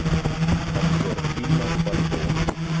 обзор фильма фартовый